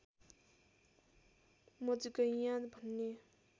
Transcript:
मजगैयाँ भन्ने